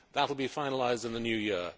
That will be finalised in the new year.